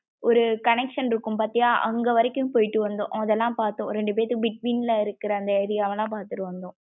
ஒரு connection இருக்கும் பாத்தியா அங்க வரைக்கும் போயிட்டு வந்தோம். அதலாம் பாத்தம் ரெண்டுபேத்துக்கு between ல இருக்குற அந்த area வலாம் பாத்துட்டு வந்தோம்.